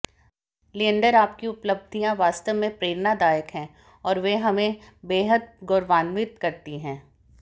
लिएंडर आपकी उपलब्धियां वास्तव में प्रेरणादायक हैं और वे हमें बेहद गौरवान्वित करती हैं